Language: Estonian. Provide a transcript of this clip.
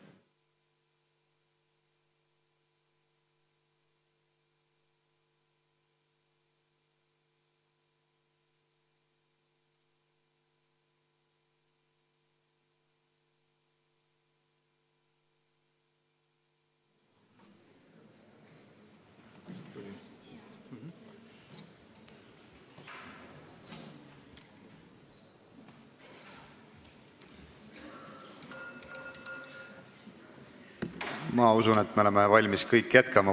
Ma usun, et me oleme kõik valmis jätkama.